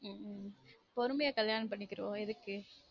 உம் பொறுமையா கல்யாணம் பண்ணிக்குருவொம் எதுக்கு